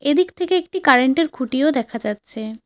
ওদিক থেকে একটি কারেন্ট -এর খুঁটিও দেখা যাচ্ছে।